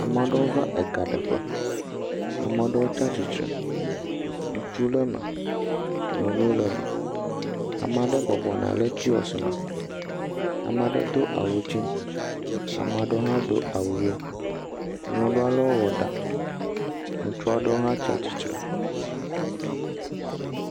Amea ɖewo va egaɖeƒe, ame ɖewo tsatsitre, ŋutsu le me, nyɔnu le me, amea ɖe bɔbɔ nɔ anyi le kiyɔsi me, ame aɖe do awu dze, amea ɖe hã do awu ʋe. nyɔnu alewo wɔ ɖa, ŋutsuwo aɖewo hã tsatsitre.